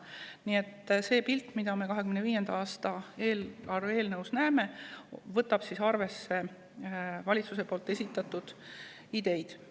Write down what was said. Nii et see pilt, mida me 2025. aasta eelarve eelnõus näeme, võtab arvesse valitsuse esitatud ideid.